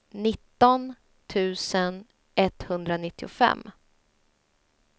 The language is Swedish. nitton tusen etthundranittiofem